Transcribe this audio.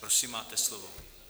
Prosím, máte slovo.